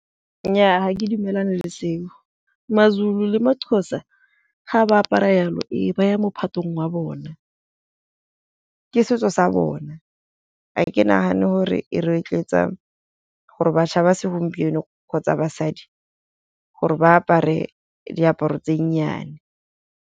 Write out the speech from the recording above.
Nnyaa ga ke dumelane le seo maZulu le maXhosa ga ba apara jalo ba ya mophatong wa bona, ke setso sa bona. Ga ke nagane gore e rotloetsa gore bašwa ba segompieno kgotsa basadi gore ba apare diaparo tse nnyane.